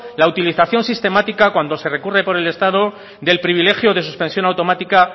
la utilización sistemática cuando se recurre por el estado del privilegio de suspensión automática